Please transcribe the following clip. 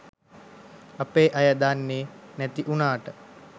අපේ අය දන්නෙ නැති උනාට